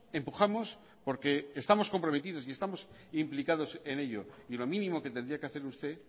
empujamos porque estamos comprometidos y estamos implicados en ello y lo mínimo que tendría que hacer usted